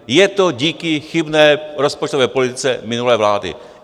Je to díky chybné rozpočtové politice minulé vlády.